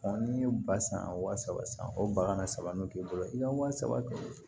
n'i ye ba san wa saba san o bakan na saba n'o k'i bolo i ka wa saba kɛ